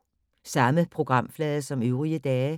Samme programflade som øvrige dage